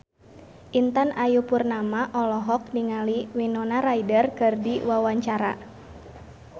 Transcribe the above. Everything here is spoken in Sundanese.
Intan Ayu Purnama olohok ningali Winona Ryder keur diwawancara